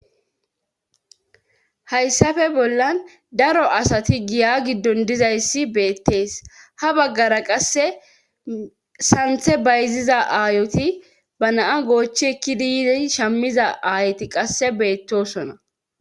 Hayssape bollan daro asati giya giddon dizayssi beettees ha baggara qasse santhe bayziza aayoti ba naa goochi ekkidi yize shammiza aayoti qasse beettosona.